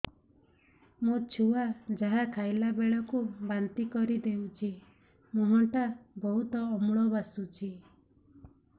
ମୋ ଛୁଆ ଯାହା ଖାଇଲା ବେଳକୁ ବାନ୍ତି କରିଦଉଛି ମୁହଁ ଟା ବହୁତ ଅମ୍ଳ ବାସୁଛି